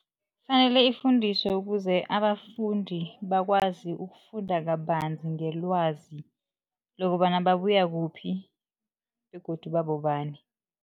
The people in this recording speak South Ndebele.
Kufanele ifundiswe ukuze abafundi bakwazi ukufunda kabanzi ngelwazi lokobana babuya kuphi begodu babobani.